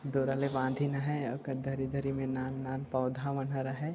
डोरा ल बांधीन हैं एकर धरी-धरी म नानक-नान पौधा मन हा रहाय।